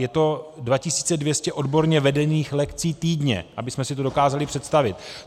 Je to 2 200 odborně vedených lekcí týdně, abychom si to dokázali představit.